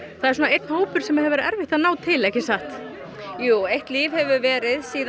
það er einn hópur sem hefur verið erfitt að ná til ekki satt jú eitt líf hefur verið síðan